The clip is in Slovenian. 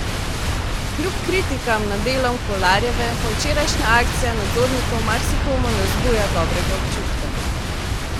Kljub kritikam nad delom Kolarjeve pa včerajšnja akcija nadzornikov marsikomu ne vzbuja dobrega občutka.